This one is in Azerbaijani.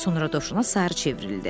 Sonra dovşana sarı çevrildi.